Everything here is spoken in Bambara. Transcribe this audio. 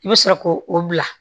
I bɛ sɔrɔ k'o o bila